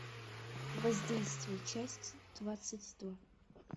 воздействие часть двадцать два